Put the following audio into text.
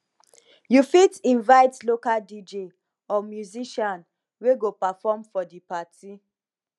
you fit invite local dj or musician wey go perform for for di party